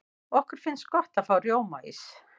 okkur finnst gott að fá rjómaís